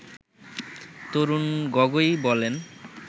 তরুণ গগৈ বলেন